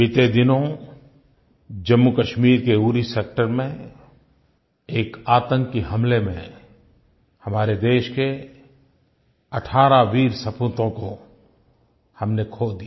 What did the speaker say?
बीते दिनों जम्मूकश्मीर के उरी सेक्टर में एक आतंकी हमले में हमारे देश के 18 वीर सपूतों को हमने खो दिया